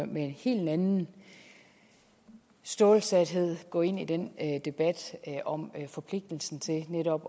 med en helt anden stålsathed gå ind i den debat om forpligtelsen til netop